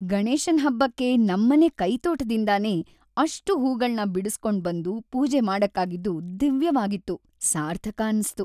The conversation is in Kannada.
ಗಣೇಶನ್‌ ಹಬ್ಬಕ್ಕೆ ನಮ್ಮನೆ ಕೈತೋಟದಿಂದನೇ ಅಷ್ಟೂ ಹೂಗಳ್ನ ಬಿಡುಸ್ಕೊಂಡ್‌ ಬಂದು ಪೂಜೆ ಮಾಡಕ್ಕಾಗಿದ್ದು ದಿವ್ಯವಾಗಿತ್ತು, ಸಾರ್ಥಕ ಅನ್ಸ್ತು.